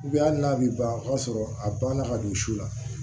hali n'a b'i ban o b'a sɔrɔ a banna ka don su la